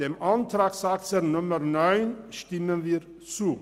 Der Planungserklärung 9 stimmen wir zu.